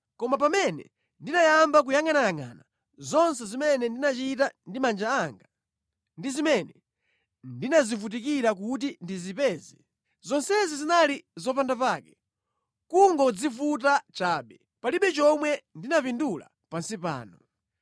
Koma pamene ndinayamba kuyangʼanayangʼana zonse zimene ndinachita ndi manja anga, ndi zimene ndinazivutikira kuti ndizipeze, zonsezi zinali zopandapake; kungodzivuta chabe, palibe chomwe ndinapindula pansi pano.